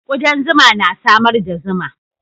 Kudan zuma na samar da zuma.